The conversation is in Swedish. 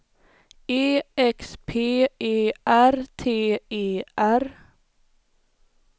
E X P E R T E R